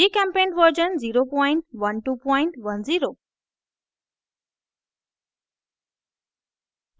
gchempaint version 01210